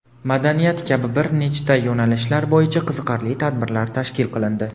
madaniyat kabi bir nechta yo‘nalishlar bo‘yicha qiziqarli tabirlar tashkil qilindi.